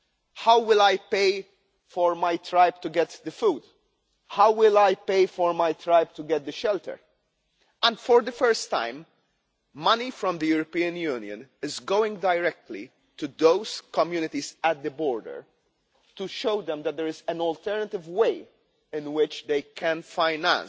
They ask how they will pay for their tribe to get food and shelter. For the first time, money from the European Union is going directly to those communities at the border to show them that there is an alternative way in which they can finance